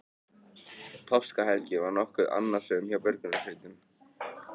Páskahelgin var nokkuð annasöm hjá björgunarsveitum